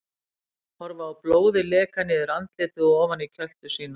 Horfa á blóðið leka niður andlitið og ofan í kjöltu sína.